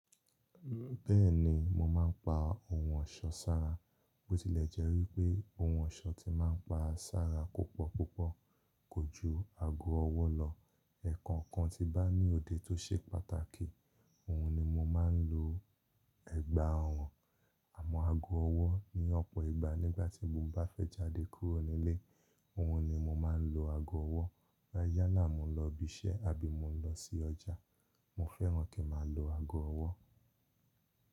Bẹ́ẹ̀ni mo máa ń pa ohun ọ̀ṣọ́ sára. Bótílẹ̀jẹ́ wí pé ohun ọ̀ṣọ́ ti máa ń pa sára púpọ̀púpọ̀, ko ju aago ọwọ́ lọ. Ẹ̀ẹ̀kan kan ti bá ní òde tó ṣe pàtàkì, òun ni mo máa ń lo ẹ̀gbá ọrun Àmọ́ aago ọwọ́ ni ọ̀pọ̀ ìgbà nígbà tí mo bá fẹ́ jáde kúrò nílé, òhun ni mo máa ń lo aago ọwọ́. Láyá lá mo lọ ibi iṣẹ́ àbí mo lọ sí ọjà, mo fẹ́ràn kí a máa lo aago ọwọ́.